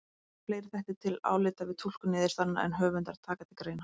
Þannig koma fleiri þættir til álita við túlkun niðurstaðnanna en höfundar taka til greina.